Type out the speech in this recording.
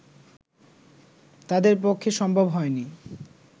তাঁদের পক্ষে সম্ভব হয়নি